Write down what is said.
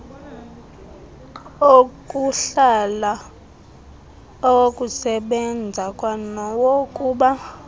okuhlala awokusebenza kwanawokuba